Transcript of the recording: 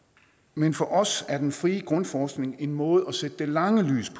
men for os er den frie grundforskning en måde kan sætte det lange lys